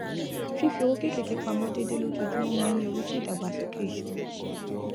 fífi owó kéékèèké pamọ déédéé lójoojúmọ máa ń yọrí sí ìdàgbàsókè ìṣúná